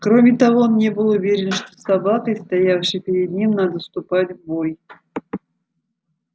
кроме того он не был уверен что с собакой стоявшей перед ним надо вступать в бой